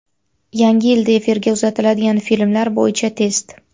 Yangi yilda efirga uzatiladigan filmlar bo‘yicha test.